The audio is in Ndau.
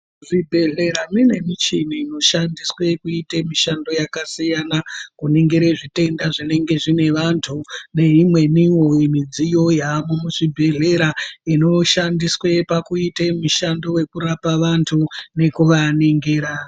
Zvibhedhlera zvinemichini inoshandiswe kuite mishando yakasiyana, kuningire zvitenda zvinenge zvine vantu, neimweniwo midziyo yavemo muzvibhedhlera inoshandiswe pakuite mishando yekurape vantu nekuvaningira.